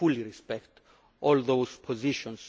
We fully respect all of those positions.